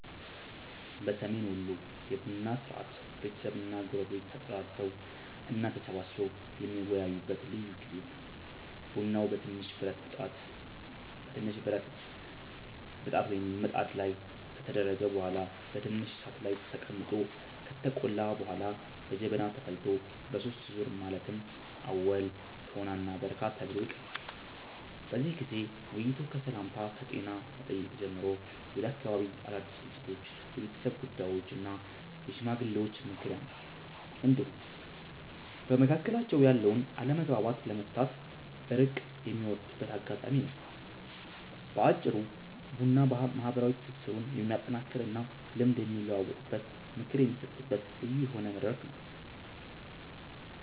በሰሜን ወሎ የቡና ሥርዓት ቤተሰብና ጎረቤቶች ተጠራርተው እና ተሰባስበው የሚወያዩበት ልዩ ጊዜ ነው። ቡናው በትንሽ ብረት ብጣት ላይ ከተደረገ በኋላ በትንሽ እሳት ላይ ተቀምጦ ከተቆላ በኋላ በጀበና ተፈልቶ በሦስት ዙር ማለትም አወል፣ ቶና እና በረካ ተብሎ ይቀርባል። በዚህ ጊዜ ውይይቱ ከሰላምታና ከጤና መጠየቅ ጀምሮ ወደ አካባቢው አዳድስ ክስተቶች፣ የቤተሰብ ጉዳዮች እና የሽማግሌዎች ምክር ያመራል፤ እንዲሁም በመካከላቸው ያለውን አለመግባባት ለመፍታት እርቅ የሚወርድበት አጋጣሚም ነው። በአጭሩ ቡና ማህበራዊ ትስስሩን የሚያጠናክርና ልምድ የሚለዋወጥበት፣ ምክር የሚሰጣጥበት ልዩ የሆነ መድረክ ነው።